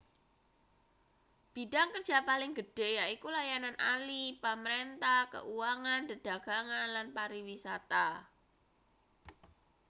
bidhang kerja paling gedhe yaiku layanan ahli pamrentah keuangan dedagangan lan pariwisata